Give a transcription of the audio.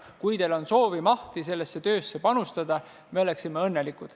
Kui teil oleks soovi-mahti sellesse töösse panustada, oleksime õnnelikud.